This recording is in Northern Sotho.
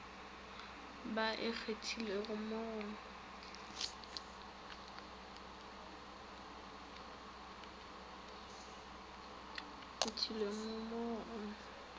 ba e kgathilego mo go